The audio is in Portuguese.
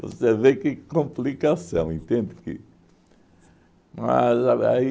Você vê que complicação, entende, que... Mas aí